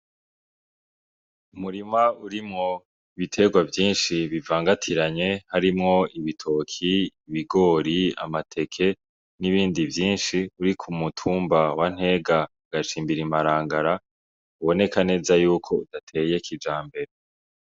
Umurima urimwo ibiterwa vyishi bivangatiranye harimwo ibitoki, ibigori, amateke n'ibindi vyishi biri ku mutumba wa Ntega agacimbiri Marangara biboneka neza yuko gateye kijambere.